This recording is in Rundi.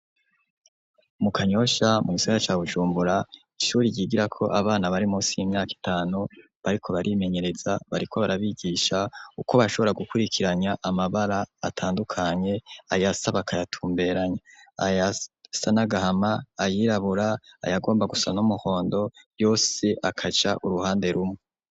Mu Kanyosha mu Gisagara ca Bujumbura Ishure ryigirako abana bari Munsi y'imyaka itanu bariko barimenyereza ,bariko barabigisha uko bashobora gukwirikiranya amabara atandukanye ayasa bakayatumberanya, ayasa nagahama ,ayirabura, ayagomba gusa n’umuhondo yose akaja uruhande rumwe.